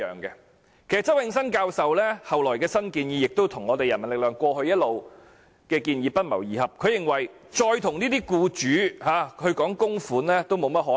其實，周永新教授後來提出的新建議，跟人民力量過去一直的建議不謀而合，他認為再跟僱主討論供款，已沒有甚麼可能。